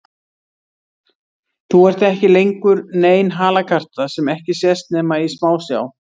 Þú ert ekki lengur nein halakarta sem ekki sést nema í smásjá.